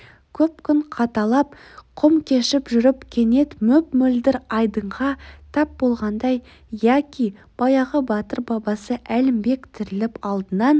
көп күн қаталап құм кешіп жүріп кенет мөп-мөлдір айдынға тап болғандай яки баяғы батыр бабасы әлімбек тіріліп алдынан